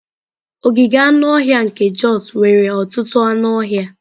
Ogige anụ ọhịa nke Jos nwere ọtụtụ anụ ọhịa.